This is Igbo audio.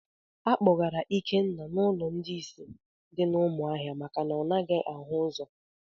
A kpọgara Ikenna n'ụlọ ndị ìsì dị na umuahia maka na ọ naghị ahụ ụzọ